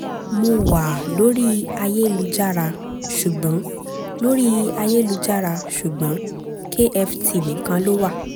mo wá a lórí ayélujára ṣùgbọ́n lórí ayélujára ṣùgbọ́n kft nìkan ló wà